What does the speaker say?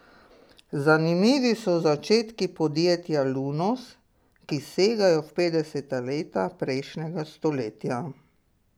Zanimivi so začetki podjetja Lunos, ki segajo v petdeseta leta prejšnjega stoletja.